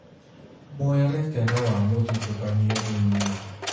Mwerekera wa mũthutũkanio thĩinĩ